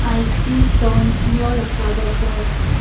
i see thorns near the flower pots.